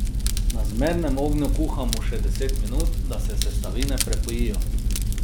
Na zmernem ognju kuhamo še deset minut, da se sestavine prepojijo.